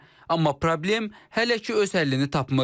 Amma problem hələ ki öz həllini tapmır.